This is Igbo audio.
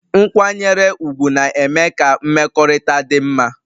Nkwanyere ugwu na-eme ka mmekọrịta dị mma